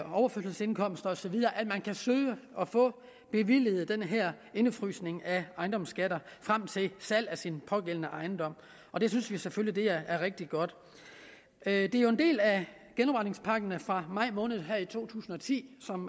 overførselsindkomster osv at de kan søge og få bevilget den her indefrysning af ejendomsskatter frem til salg af den pågældende ejendom og det synes vi selvfølgelig er rigtig godt det er jo en del af genopretningspakken fra maj måned her i to tusind og ti som